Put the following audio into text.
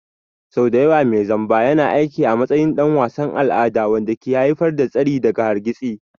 Sau da yawa mai zamba yana aiki a matsayin ɗan wasan al'ada wanda ke haifar da tsari daga hargitsi.